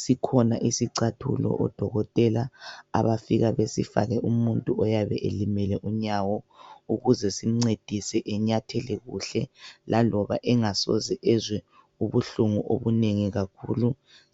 Sikhona isicathulo odokotela abafika besifake umuntu oyabe elimele unyawo ukuze simncedise enyathele kuhle laloba engasoze ezwe ubuhlungu obunengi kakhulu